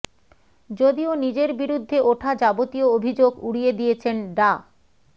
যদিও নিজের বিরুদ্ধে ওঠা যাবতীয় অভিযোগ উড়িয়ে দিয়েছেন ডা